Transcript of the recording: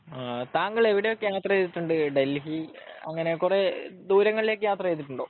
താങ്കളെ എവിടെയൊക്ക യാത്ര ചെയ്തിട്ടുണ്ട് ഡൽഹി അങ്ങിനെ കൊറേ ദൂരങ്ങളിലേക്ക് ഒക്കെ യാത്ര ചെയ്തിട്ടുണ്ടോ